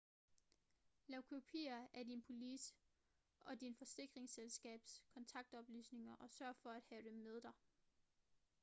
lav kopier af din police og dit forsikringsselskabs kontaktoplysninger og sørg for at have dem med dig